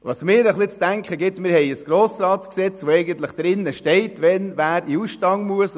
Etwas zu denken gibt mir die Tatsache, dass wir ein GRG haben, in welchem festgehalten ist, wer wann in den Ausstand treten muss.